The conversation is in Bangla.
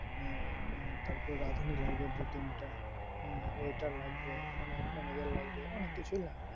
আহ তারপর রাধুনী লাগবে দুই তিনটা হ্যাঁ waiter লাগবে manager লাগবে মানে অনেক কিছুই লাগবে।